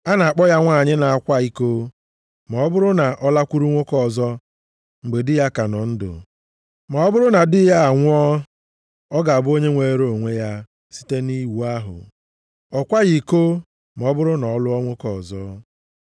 A ga-akpọ ya nwanyị na-akwa iko ma ọ bụrụ na ọ lakwuru nwoke ọzọ mgbe di ya ka dị ndụ. Ma ọ bụrụ na di ya anwụọ, ọ ga-abụ onye nwere onwe ya site nʼiwu ahụ. Ọ kwaghị iko ma ọ bụrụ na ọ lụọ nwoke ọzọ.